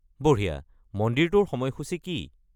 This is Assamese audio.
বঢ়িয়া; মন্দিৰটোৰ সময়সূচি কি?